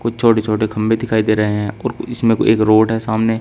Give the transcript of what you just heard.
कुछ छोटे छोटे खंभे दिखाई दे रहे हैं और इसमें एक रोड है सामने--